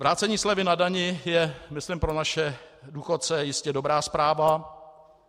Vrácení slevy na dani je myslím pro naše důchodce jistě dobrá zpráva.